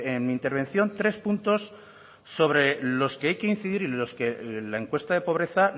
en mi intervención tres puntos sobre los que hay que incidir y los que la encuesta de pobreza